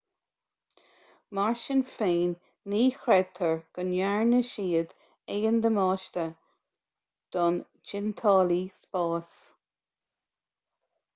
mar sin féin ní chreidtear go ndearna siad aon damáiste don tointeálaí spáis